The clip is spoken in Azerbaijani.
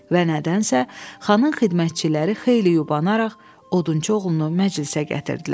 Və nədənsə xanın xidmətçiləri xeyli yubanaraq odunçu oğlunu məclisə gətirdilər.